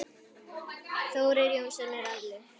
Þórir Jónsson er allur.